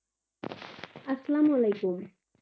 আসসালাম ওয়ালাইকুম.